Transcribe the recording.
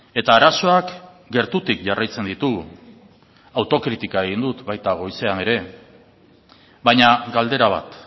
eta arazoak gertutik jarraitzen ditugu autokritika egin dut baita goizean ere baina galdera bat